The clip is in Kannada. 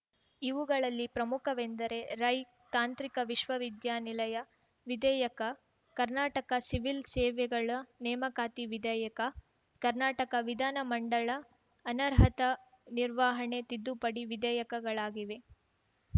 ಇವುಗಳಲ್ಲಿ ಪ್ರಮುಖವೆಂದರೆ ರೈ ತಾಂತ್ರಿಕ ವಿಶ್ವ ವಿದ್ಯಾನಿಲಯ ವಿಧೇಯಕ ಕರ್ನಾಟಕ ಸಿವಿಲ್‌ ಸೇವೆಗಳ ನೇಮಕಾತಿ ವಿಧೇಯಕ ಕರ್ನಾಟಕ ವಿಧಾನ ಮಂಡಳ ಅನರ್ಹತಾ ನಿರ್ವಾಹಣೆ ತಿದ್ದುಪಡಿ ವಿಧೇಯಕಗಳಾಗಿವೆ